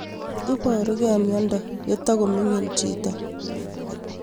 Iparukei miondo ye toko mining' chito